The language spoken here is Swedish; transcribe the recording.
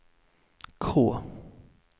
K